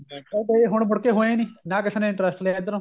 ਉਹ ਕਦੇ ਹੁਣ ਮੁੜ ਕੇ ਹੋਏ ਨੀ ਨਾ ਕਿਸੇ ਨੇ interest ਲਿਆ ਇੱਧਰੋ